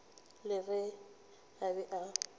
le ge a be a